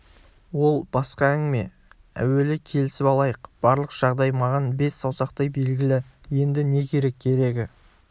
ол басқа әңгіме әуелі келісіп алайық барлық жағдай маған бес саусақтай белгілі енді не керек керегі